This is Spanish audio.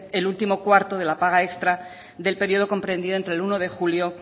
el último cuarto de la paga extra del periodo comprendido entre el uno de julio